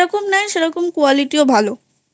দাম যেরকম নেয় সেরকম Qualityও ভালোI